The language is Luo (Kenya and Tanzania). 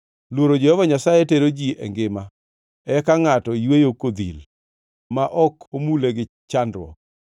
Luoro Jehova Nyasaye tero ji e ngima; eka ngʼato yweyo kodhil, ma ok omule gi chandruok.